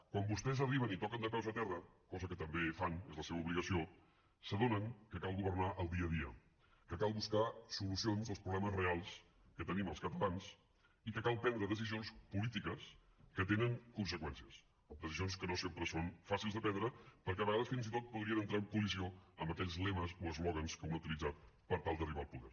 quan vostès arriben i toquen de peus a terra cosa que també fan és la seva obligació s’adonen que cal governar el dia a dia que cal buscar solucions als problemes reals que tenim els catalans i que cal prendre decisions polítiques que tenen conseqüències decisions que no sempre són fàcils de prendre perquè a vegades fins i tot podrien entrar en col·lisió amb aquells lemes o eslògans que un ha utilitzat per tal d’arribar al poder